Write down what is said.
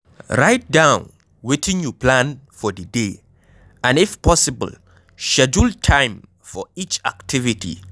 write down wetin you plan for di day and if possible, schedule time for each activity